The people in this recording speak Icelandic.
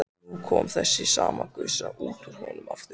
Og nú kom þessi sama gusa út úr honum aftur.